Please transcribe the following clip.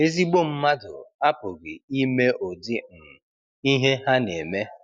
Ezigbo mmadụ apụghị ime ụdị um ihe ha na-eme.